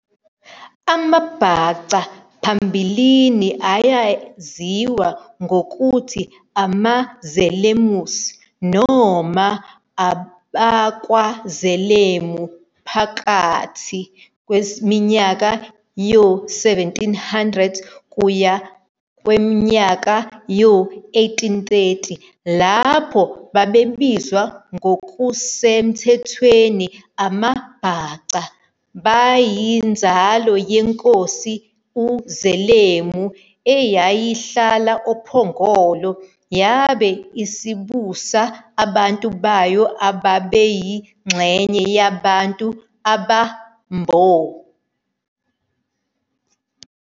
AmaBhaca phambilini ayaziwa ngokuthi amaZelemus noma AbakwaZelemu phakathi kweminyaka yo-1700 kuya kowe-1830 lapho babebizwa ngokusemthethweni AmaBhaca. Bayinzalo yenkosi uZelemu eyayihlala oPhongolo yabe isibusa abantu bayo ababeyingxenye yabantu abaMbo.